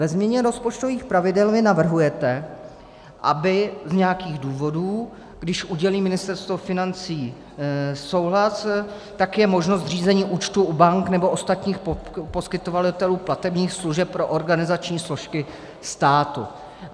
Ve změně rozpočtových pravidel vy navrhujete, aby z nějakých důvodů, když udělí Ministerstvo financí souhlas, tak je možno zřízení účtu u bank nebo ostatních poskytovatelů platebních služeb pro organizační složky státu.